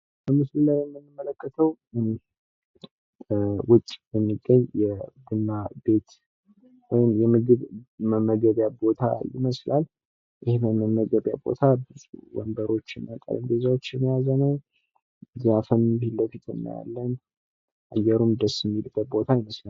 በምስሉ ላይ እንደምንመለከተው የቡና ቤት ወይም የምግብ ቤት ሲሆን ይኸውም መቀመጫ ወንበርና ጠረንጴዛን የያዘ ነው። በተጨማሪም ከበስተጀርባ ዛፎች ይታያሉ፣ አየሩም ደስ የሚል ይመስላል።